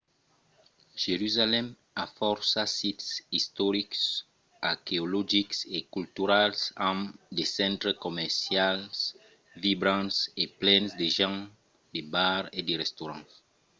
jerusalèm a fòrça sits istorics arqueologics e culturals amb de centres comercials vibrants e plens de gents de bars e de restaurants